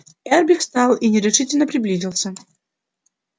эрби встал и нерешительно приблизился